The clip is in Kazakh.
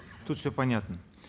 тут все понятно